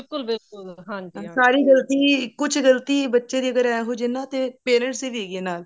ਬਿਲਕੁੱਲ ਬਿਲਕੁੱਲ ਹਾਂਜੀ ਹਾਂ ਸਾਰੀ ਗਲਤੀ ਕੁੱਛ ਗਲਤੀ ਬੱਚੇ ਅਗਰ ਇਹੋ ਜਿਹੇ ਨੇ ਤਾਂ parents ਦੀ ਵੀ ਹੈਗੀ ਹੈ ਨਾਲ